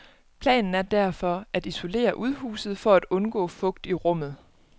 Planen er derfor at isolere udhuset for at undgå fugt i rummet.